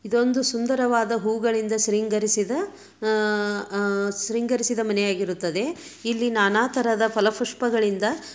ಇದೊಂದು ಸುಂದರವಾದ ಹೂವುಗಳಿಂಗ ಶೃಂಗರಿಸಿದ ಆಹ್ ಆಹ್ ಶೃಂಗರಿಸಿದ ಮನೆ ಆಗಿರುತ್ತದೆ. ಇಲ್ಲಿ ನಾನಾತರದ ಫಲಪುಷ್ಪಗಳಿಂದ --